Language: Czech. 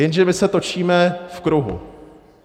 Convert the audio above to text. Jenže my se točíme v kruhu.